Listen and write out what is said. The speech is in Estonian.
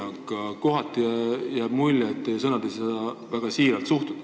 Paraku kohati jääb mulje, et teie sõnu ei saa väga siiraks pidada.